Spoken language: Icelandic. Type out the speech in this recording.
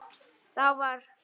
Þá var